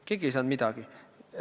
Keegi ei saanud midagi!